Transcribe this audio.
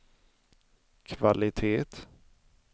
kvalitet